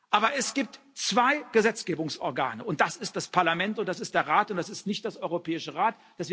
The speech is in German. Aber es gibt zwei Gesetzgebungsorgane Das ist das Parlament, und das ist der Rat, und das ist nicht der Europäische Rat.